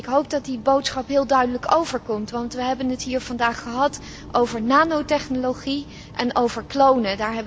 Ik hoop dat die boodschap heel duidelijk overkomt, want we hebben het hier vandaag gehad over nanotechnologie en over klonen.